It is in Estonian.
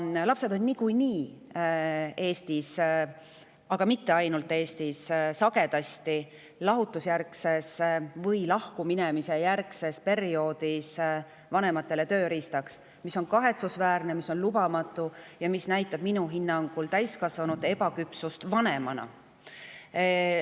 Lapsed on niikuinii Eestis – ja mitte ainult Eestis – sagedasti lahutuse või lahkuminemise järgsel perioodil vanemate tööriistaks, mis on kahetsusväärne ja lubamatu ning mis näitab minu hinnangul täiskasvanute ebaküpsust vanemana.